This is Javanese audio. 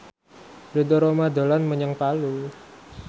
Ridho Roma dolan menyang Palu